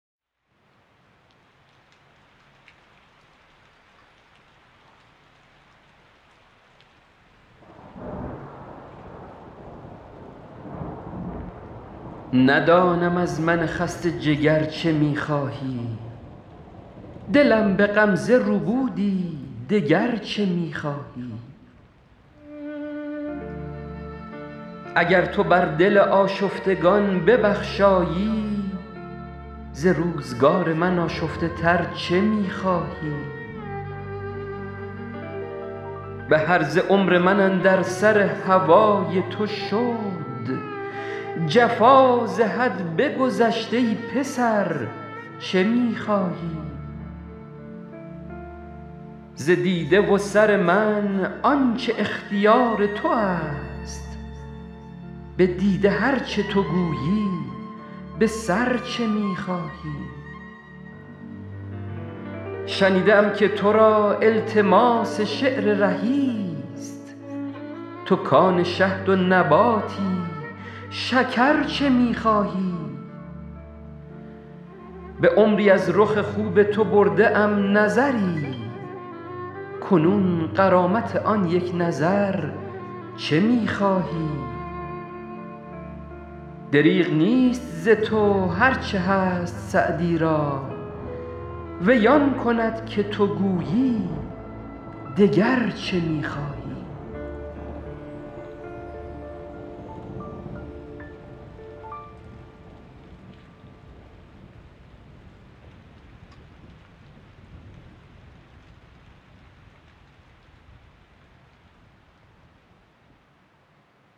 ندانم از من خسته جگر چه می خواهی دلم به غمزه ربودی دگر چه می خواهی اگر تو بر دل آشفتگان ببخشایی ز روزگار من آشفته تر چه می خواهی به هرزه عمر من اندر سر هوای تو شد جفا ز حد بگذشت ای پسر چه می خواهی ز دیده و سر من آن چه اختیار تو است به دیده هر چه تو گویی به سر چه می خواهی شنیده ام که تو را التماس شعر رهی ست تو کآن شهد و نباتی شکر چه می خواهی به عمری از رخ خوب تو برده ام نظری کنون غرامت آن یک نظر چه می خواهی دریغ نیست ز تو هر چه هست سعدی را وی آن کند که تو گویی دگر چه می خواهی